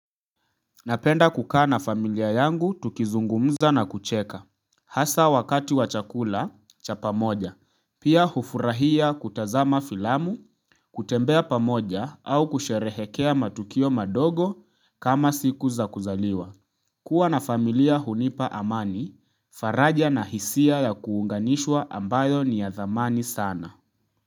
Napenda kukaa na familia yangu tukizungumza na kucheka. Hasa wakati wa chakula cha pamoja. Pia hufurahia kutazama filamu kutembea pamoja au kusherehekea matukio madogo kama siku za kuzaliwa kuwa na familia hunipa amani, faraja na hisia ya kuunganishwa ambayo ni ya dhamani sana.